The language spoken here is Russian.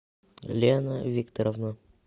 лена викторовна